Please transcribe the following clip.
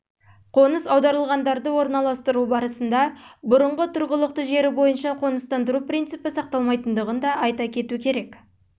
қоныс аударылғандарды орналастыру барысында бұрынғы тұрғылықты жері бойынша қоныстандыру принципі сақталмағандығын айта кету керек